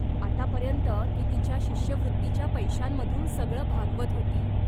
आतापर्यंत ती तिच्या शिष्यवृत्तीच्या पैशांमधून सगळं भागवत होती.